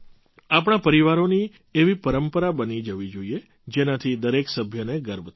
આપણા પરિવારોની એવી પરંપરા બની જવી જોઈએ જેનાથી દરેક સભ્યને ગર્વ થાય